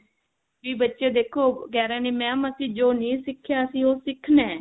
ਵੀ ਬੱਚੇ ਦੇਖੋ ਕਿਹ ਰਹੇ ਨੇ mam ਅਸੀਂ ਜੋ ਨਹੀ ਸਿੱਖਿਆ ਸੀ ਉਹ ਸਿੱਖਣਾ